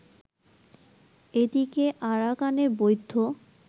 এদিকে আরাকানের বৌদ্ধ